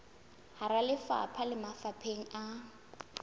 hara lefapha le mafapheng a